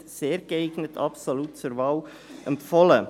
«sehr geeignet», absolut zur Wahl empfohlen.